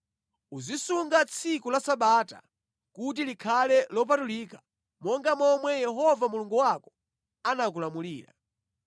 “Uzisunga tsiku la Sabata kuti likhale lopatulika monga momwe Yehova Mulungu wako anakulamulira.